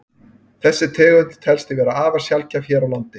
þessi tegund telst því vera afar sjaldgæf hér á landi